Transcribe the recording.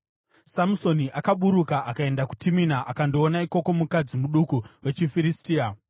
Samusoni akaburuka akaenda kuTimina akandoona ikoko mukadzi muduku wechiFiristia.